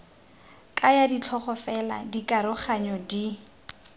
kaya ditlhogo fela dikaroganyo di